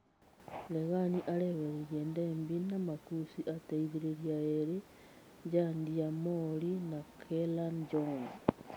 Regani areherire Ndebi na makũci ateithĩrĩria erĩ, Njandia Mori na Keran John.